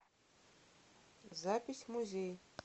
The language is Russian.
запись музей